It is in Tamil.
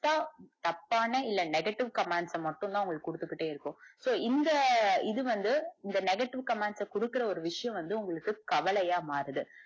தப்பான இல்ல negative commands ச மட்டும்தா உங்களுக்கு குடுத்துகிட்டே இருக்கும் so இந்த இது வந்து இந்த negative commands ச குடுக்கற விஷயம் வந்து உங்களுக்கு கவலையா மாறுது.